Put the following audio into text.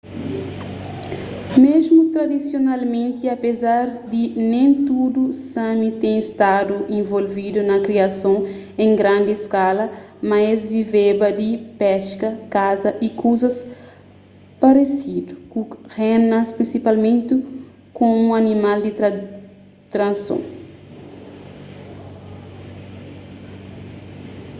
mesmu tradisionalmenti apezar di nen tudu sámi ten stadu involvidu na kriason en grandi skala mas es viveba di peska kasa y kuzas paresidu ku renas prinsipalmenti komu animal di trason